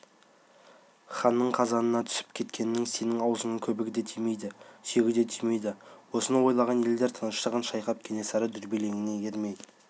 ханның қазанына түсіп кеткеннің сенің аузыңа көбігі де тимейді сүйегі де тимейді осыны ойлаған елдер тыныштығын шайқап кенесары дүрбелеңіне ермей